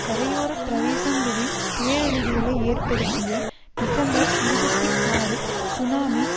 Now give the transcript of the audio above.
கரையோர பிரதேசங்களில் பேரழிவுகளை ஏற்படுத்திய டிசம்பர் இருபத்தி ஆறு சுனாமி